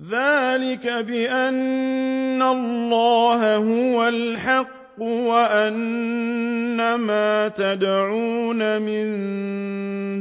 ذَٰلِكَ بِأَنَّ اللَّهَ هُوَ الْحَقُّ وَأَنَّ مَا يَدْعُونَ مِن